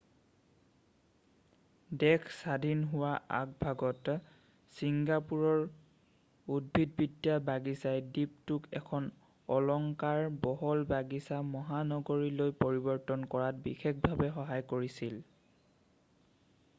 দেশ স্বাধীন হোৱাৰ আগভাগত চিংগাপুৰৰ উদ্ভিদবিদ্যা বাগিচাই দ্বীপটোক এখন অলংকাৰ বহুল বাগিচা মহানগৰলৈ পৰিবৰ্তন কৰাত বিশেষভাৱে সহায় কৰিছিল